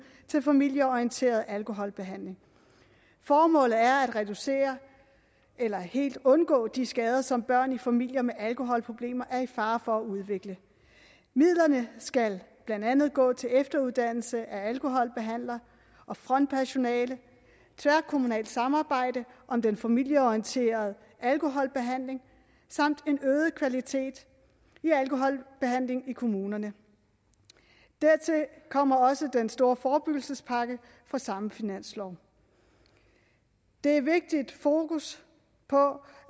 til familieorienteret alkoholbehandling formålet er at reducere eller helt undgå de skader som børn i familier med alkoholproblemer er i fare for at udvikle midlerne skal blandt andet gå til efteruddannelse af alkoholbehandlere og frontpersonale tværkommunalt samarbejde om den familieorienterede alkoholbehandling samt en øget kvalitet i alkoholbehandlingen i kommunerne dertil kommer også den store forebyggelsespakke fra samme finanslov det er vigtigt at have fokus på